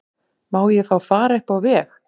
Má ég fá far upp á veg?